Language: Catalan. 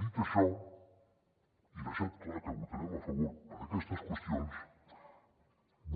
dit això i havent deixat clar que votarem a favor per aquestes qüestions